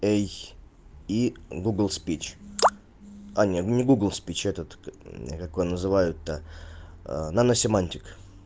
эй и гугл спич а не не гугл спич а этот как его называют то наносемантик